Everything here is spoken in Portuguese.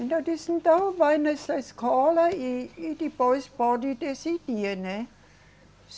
Então, desde então, vai nessa escola, e, e depois pode decidir, né?